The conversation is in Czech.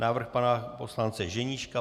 Návrh pana poslance Ženíška.